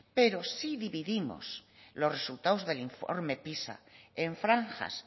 pero si dividimos los resultados del informe pisa en franjas